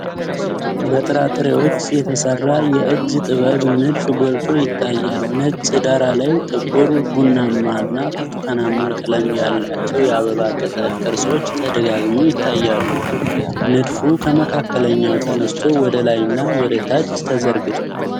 በጥራጥሬዎች የተሠራ የእጅ ጥበብ ንድፍ ጎልቶ ይታያል። ነጭ ዳራ ላይ ጥቁር፣ ቡናማና ብርቱካናማ ቀለም ያላቸው የአበባ ቅጠል ቅርጾች ተደጋግመው ይታያሉ። ንድፉ ከመካከለኛው ተነስቶ ወደ ላይና ወደ ታች ተዘርግቷል።